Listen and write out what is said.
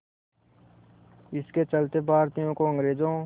इसके चलते भारतीयों को अंग्रेज़ों